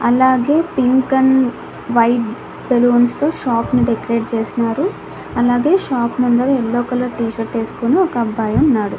అలాగే pink and white balloons తో shop ని డెకరేట్ చేసినారు అలాగే షాప్ ముందర యెల్లో కలర్ టీ-షర్ట్ ఏసుకొని ఒక అబ్బాయి ఉన్నాడు.